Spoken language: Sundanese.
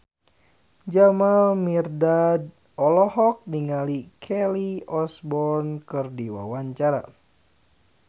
Jamal Mirdad olohok ningali Kelly Osbourne keur diwawancara